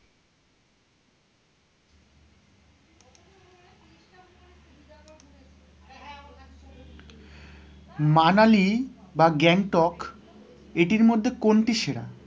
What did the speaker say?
মানালি বা গ্যাংটক এটির মধ্যে কোনটি সেরা?